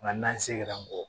Nka n'an segɛrɛ mɔgɔ